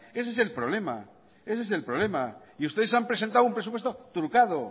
ese el problema y ustedes han presentado un presupuesto trucado